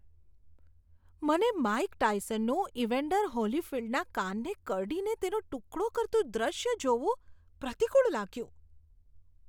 મને માઇક ટાયસનનું ઇવેન્ડર હોલીફિલ્ડના કાનને કરડીને તેનો ટુકડો કરતું દૃશ્ય જોવું પ્રતિકુળ લાગ્યું.